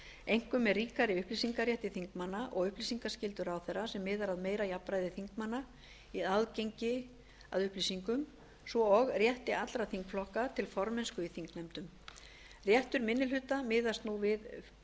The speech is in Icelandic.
einkum með ríkari upplýsingarétti þingmanna og upplýsingaskyldu ráðherra sem miðar að meira jafnræði þingmanna í aðgengi að upplýsingum svo og rétti allra þingflokka til formennsku í þingnefndum réttur minni hluta miðast nú við